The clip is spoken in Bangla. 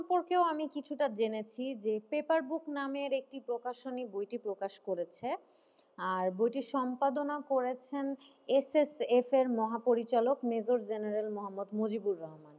সম্পর্কও আমি কিছুটা জেনেছি যে পেপারবুক নামের একটি প্রকাশনী বইটি প্রকাশ করেছে, আর বইটির সম্পাদনা করেছেন এসএফের এর মহাপরিচালক মেজর জেনারেল মোহাম্মদ মুজিবুর রহমান,